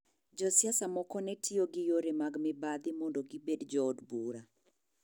Josiasa moko ne tiyo gi yore mag mibadhi mondo gibedo jood bura.